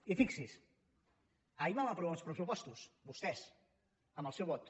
i fixi s’hi ahir vam aprovar uns pressupostos vostès amb el seu vot